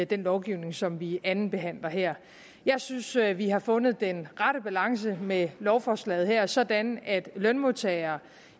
den lovgivning som vi andenbehandler her jeg synes at vi har fundet den rette balance med lovforslaget her sådan at lønmodtagere